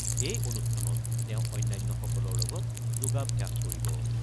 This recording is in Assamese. এই অনুষ্ঠানত তেওঁ অন্যান্যসকলৰ লগত যোগাভ্যাস কৰিব।